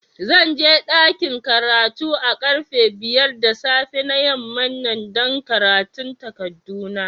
Zan je dakin karatu a karfe biyar da safe na yaman nan dan karatun takadu na.